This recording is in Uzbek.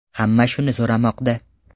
Hamma shuni so‘ramoqda.